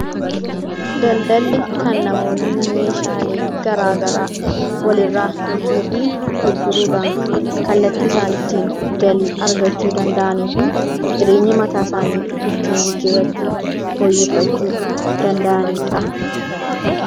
Daldaalli kan namoonni meeshaalee garagaraa walirraa bituu fi gurguruudhaan kallattii isaan ittin galii argachuu danda'anii fi jireenya mataa isaani ittiin fooyyeffachuu danda'anidha.